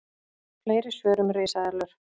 Fleiri svör um risaeðlur: